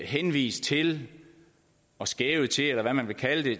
henvist til og skævet til eller hvad man vil kalde det